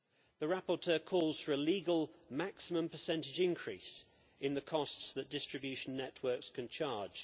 The rapporteur calls for a legal maximum percentage increase in the costs that distribution networks can charge.